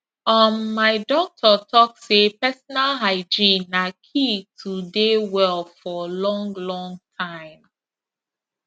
um my doctor talk say personal hygiene na key to dey well for long long time